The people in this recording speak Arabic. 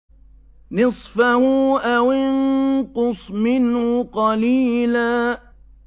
نِّصْفَهُ أَوِ انقُصْ مِنْهُ قَلِيلًا